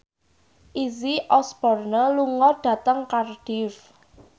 Izzy Osborne lunga dhateng Cardiff